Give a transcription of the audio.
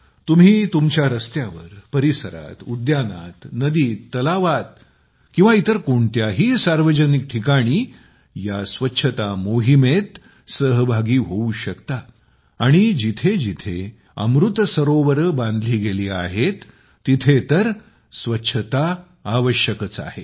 तुम्ही तुमच्या रस्त्यावर परिसरात उद्यानात नदीत तलावात किंवा इतर कोणत्याही सार्वजनिक ठिकाणी या स्वच्छता मोहिमेत सहभागी होऊ शकता आणि जिथे जिथे अमृत सरोवर बांधले गेले आहेत तिथे तर स्वच्छता आवश्यकच आहे